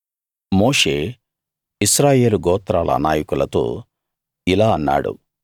మోషే ఇశ్రాయేలు గోత్రాల నాయకులతో ఇలా అన్నాడు